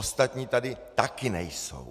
Ostatní tady taky nejsou.